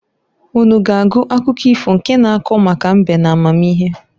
Unu ga agụ akụkọ ifo nke na-ako maka mbe n'amamihe.